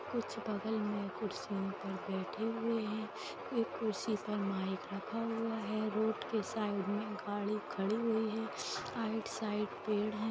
कुछ बगल में कुर्सियों पर बैठे हुए हैं एक कुर्सी पर माइक रखा हुआ है रोड के साइड में गाड़ी खड़ी हुई है साइड - साइड पेड़ है।